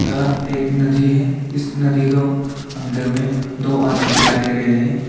यह एक नदी है इस नदी को अंदर में दो आदमी दिखाई दे रहे हैं।